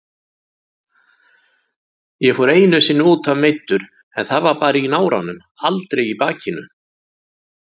Ég fór einu sinni útaf meiddur en það var bara í náranum, aldrei í bakinu.